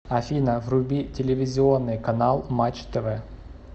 афина вруби телевизионный канал матч тв